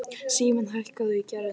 Simmi, hækkaðu í græjunum.